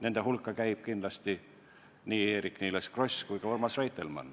Nende hulka kuuluvad kindlasti nii Eerik-Niiles Kross kui ka Urmas Reitelmann.